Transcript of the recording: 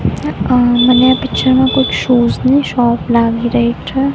અ મને આ પિક્ચર મા કોઈક શૂઝ ની શોપ લાગી રહી છે.